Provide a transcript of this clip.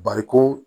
Bariko